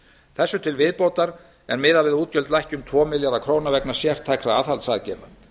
þessu til viðbótar er miðað við að útgjöld lækki um tvo milljarða króna vegna sértækra aðhaldsaðgerða